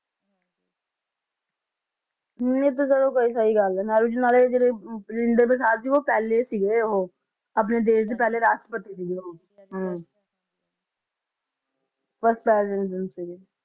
ਇਹ ਤਾ ਚਲੋ ਤੁਹਾਡੀ ਸਹੀ ਗੱਲ ਏ ਨਹਿਰੂ ਜੀ ਰਾਜਿੰਦਰ ਪ੍ਰਸਾਦ ਸੀਗੇ ਉਹ ਪਹਿਲੇ ਸੀਗੇ ਉਹ ਆਪਣੇ ਦੇਸ਼ ਦੇ ਪਹਿਲੇ ਰਾਸ਼ਤ੍ਰਿਪਤੀ ਸੀਗੇ first president ਸੀਗੇ